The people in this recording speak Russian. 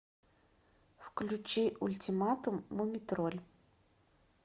включи ультиматум мумий тролль